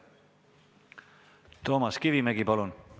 Toomas Kivimägi, palun!